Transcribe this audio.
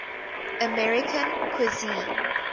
american cuisine